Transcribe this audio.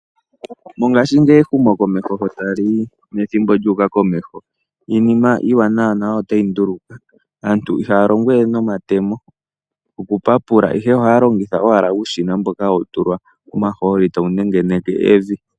Mongaashingeyi wehumokomeho lyo taliyi nethimbo lyu uka komeho iinima iiwanawa nayo otayi ndulukwa. Aantu ihaya longo we nomatemo oku papula ihe ohaya longithwa owala uushina mboka hawu tulwa omahooli tawu nengeneke evi.